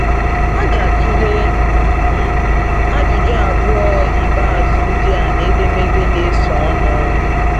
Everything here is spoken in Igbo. A ga-atụle um ajụjụ abụọ ikpeazụ ndị a n’edemede na-esonụ.